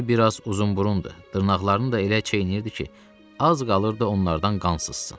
Düzü biraz uzunburundur, dırnaqlarını da elə çeynəyirdi ki, az qalırdı onlardan qan sızsın.